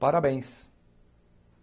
Parabéns.